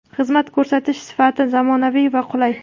Xizmat ko‘rsatish sifati zamonaviy va qulay.